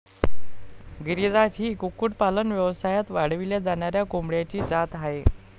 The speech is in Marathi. गिरीराज ही कुक्कुटपालन व्यवसायात वाढविल्या जाणाऱ्या कोंबड्यांची जात आहे.